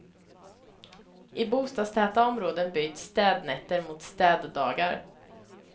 I bostadstäta områden byts städnätter mot städdagar.